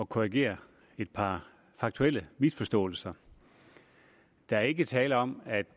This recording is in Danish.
korrigere et par faktuelle misforståelser der er ikke tale om at